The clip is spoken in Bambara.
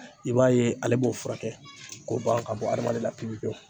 I b'a ye ale b'o furakɛ k'o ban ka bɔ adamaden na pewu pewu.